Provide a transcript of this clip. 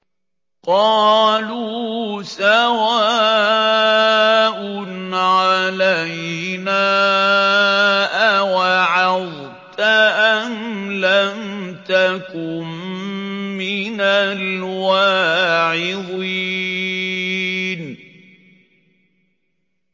قَالُوا سَوَاءٌ عَلَيْنَا أَوَعَظْتَ أَمْ لَمْ تَكُن مِّنَ الْوَاعِظِينَ